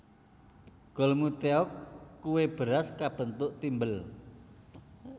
Golmi tteok kue beras kabentuk thimble